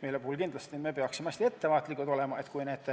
Sellisel juhul peaksime olema hästi ettevaatlikud, et kui need